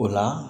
O la